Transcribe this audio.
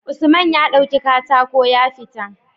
Usman ya dauki katako ya fita